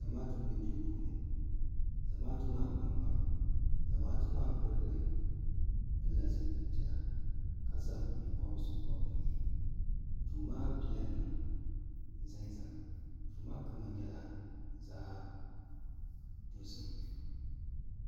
zamaatu n bɛ duu puuni zamaatu maa gba n gba mi zamaatu maa pirigili pili la zupiligu piɛlla ka zaŋ yee pɔbirisi pɔbi bi yehi duu maa pila nima za n za mi duu maa kama nyɛla zaɣi dozim.